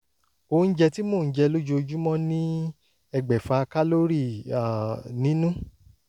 oúnjẹ tí mò ń jẹ lójoojúmọ́ ní ẹgbẹ̀fà kálórì um nínú